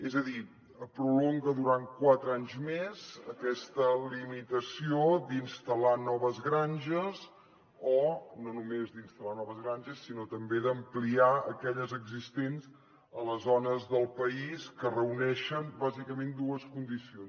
és a dir prolonga durant quatre anys més aquesta limitació d’instal·lar noves granges o no només d’instal·lar noves granges sinó també d’ampliarne aquelles existents a les zones del país que reuneixen bàsicament dues condicions